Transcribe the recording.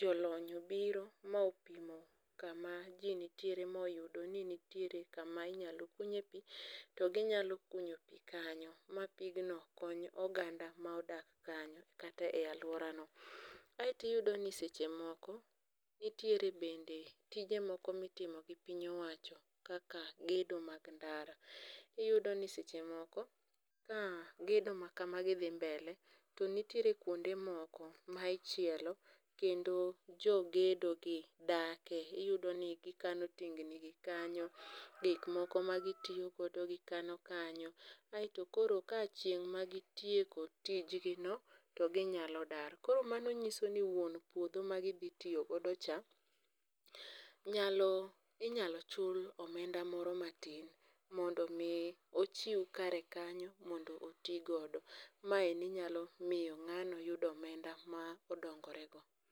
jolony obiro ma opimo kama ji nitiere moyudo ni nitiere kama inyalo kunye pi to ginyalo kunyo pi kanyo ma pigno kony oganda ma odak kanyo kata e aluora no. Aito iyudo ni seche moko nitiere bende tije moko mitimo gi piny owacho kaka gedo mag ndara. Iyudo ni seche moko ka gedo ma kamagi dhi mbele to nitiere kuonde moko ma ichielo kendo jogedo gi dake. Iyudo ni gikano tingni gi kanyo gik moko ma gitiyogodo gikano kanyo. Aeto koro chieng' ma gitieko tijgino to ginyalo dar. Kor mano nyiso ni wuon puodho ma gidhi tiyo go cha inyalo chul omenda moro matin mondo mi ochiw kare kanyo mondo oti godo. Maeni nyalo miyo ng'ano yudo omenda ma odongorego.